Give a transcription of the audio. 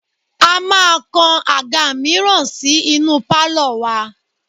A máa kan àga mìíràn sí inú pálọ̀ wa